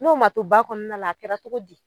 N'o ma to ba kɔɔna la a kɛra togo di?